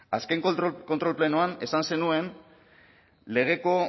azken kontrol plenoan esan zenuen